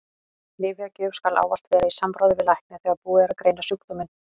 Lyfjagjöf skal ávallt vera í samráði við lækni þegar búið er að greina sjúkdóminn.